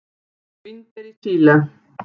Vínber í Síle.